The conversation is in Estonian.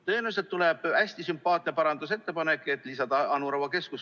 Tõenäoliselt tuleb hästi sümpaatne parandusettepanek, et lisada siis Anu Raua keskus.